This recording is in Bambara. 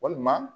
Walima